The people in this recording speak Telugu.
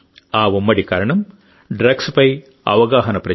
ఆ ఉమ్మడి కారణం డ్రగ్స్పై అవగాహన ప్రచారం